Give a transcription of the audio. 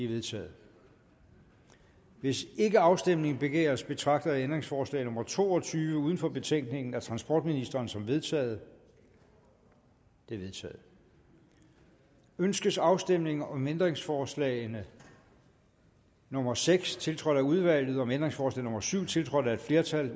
vedtaget hvis ikke afstemning begæres betragter jeg ændringsforslag nummer to og tyve uden for betænkningen af transportministeren som vedtaget det er vedtaget ønskes afstemning om ændringsforslag nummer seks tiltrådt af udvalget om ændringsforslag nummer syv tiltrådt af et flertal